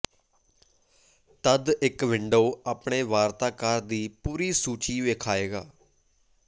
ਤਦ ਇੱਕ ਵਿੰਡੋ ਆਪਣੇ ਵਾਰਤਾਕਾਰ ਦੀ ਪੂਰੀ ਸੂਚੀ ਵੇਖਾਏਗਾ